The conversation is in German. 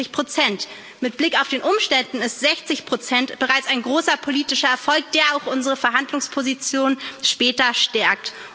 65 Mit Blick auf die Umstände ist 60 bereits ein großer politischer Erfolg, der auch unsere Verhandlungsposition später stärkt.